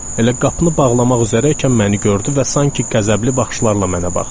Elə qapını bağlamaq üzrəykən məni gördü və sanki qəzəbli baxışlarla mənə baxdı.